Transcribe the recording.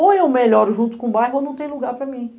Ou eu melhoro junto com o bairro ou não tem lugar para mim.